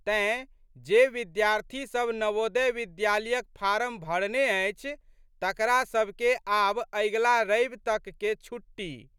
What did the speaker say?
तेँ, जे विद्यार्थी सब नवोदय विद्यालयक फारम भरने अछि तकरासबके आब अगिला रवि तकके छुट्टी।